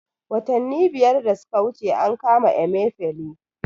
Watanni biyar da suka wuce an kama Emefele